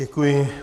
Děkuji.